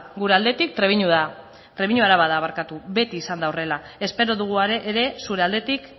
gure aldetik trebiño araba da beti izan da horrela espero dugu ere zure aldetik